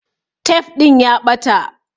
Tef ɗin ya ɓata